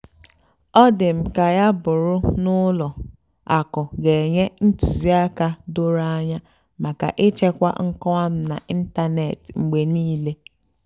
ọ́ dì́ m kà yá bụ́rụ́ nà ùlọ àkụ́ gà-ènyé ntùzìákà dòró ànyá màkà íchèkwá nkọ́wá m n'ị́ntánètị́ mgbe níìlé.